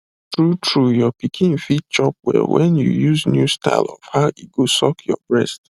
tru tru your pikin fit chop well when you use new style of how e go suck your breast